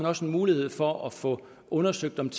også en mulighed for at få undersøgt om